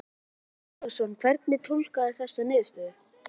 Þorbjörn Þórðarson: Hvernig túlkarðu þessar niðurstöður?